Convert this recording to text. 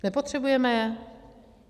Nepotřebujeme je?